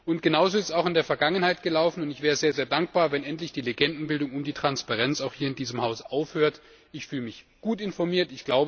Und genau so ist es auch in der Vergangenheit gelaufen, und ich wäre sehr dankbar, wenn endlich die Legendenbildung um die Transparenz, auch hier in diesem Haus, aufhört. Ich fühle mich gut informiert.